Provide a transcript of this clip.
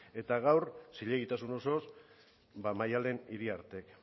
eta gaur zilegitasun osoz maddalen iriartek